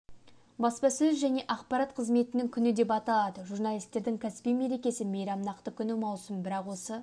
баспасөз және ақпарат қызметінің күні деп аталады журналисттердің кәсіби мерекесі мейрам нақты күні маусым бірақ осы